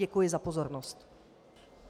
Děkuji za pozornost.